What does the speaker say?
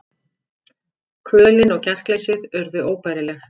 Kvölin og kjarkleysið urðu óbærileg.